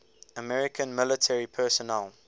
american military personnel